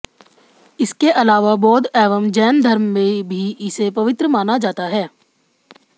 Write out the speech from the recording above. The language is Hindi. इसके अलावा बौद्ध एवं जैन धर्म में भी इसे पवित्र माना जाता है